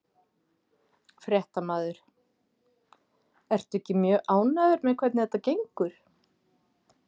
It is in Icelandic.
Fréttamaður: Ertu ekki mjög ánægður með hvernig þetta gengur?